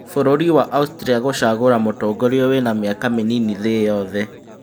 Bũrũri wa Austria gũchagũra mũtongoria wĩna mĩaka mĩnini thĩ yothe